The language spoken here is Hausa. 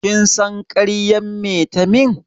Kin san ƙaryan me ta yi min?